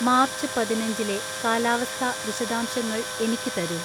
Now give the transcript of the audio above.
March പതിനഞ്ചിലെ കാലാവസ്ഥാ വിശദാംഷങ്ങൾ എനിക്ക് തരൂ